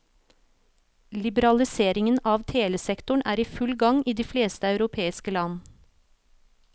Liberaliseringen av telesektoren er i full gang i de fleste europeiske land.